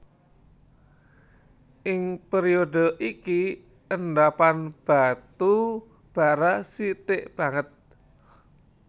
Ing période iki endhapan batu bara sithik banget